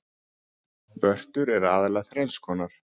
Vörtur eru aðallega þrenns konar.